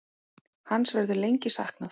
Hans verður lengi saknað.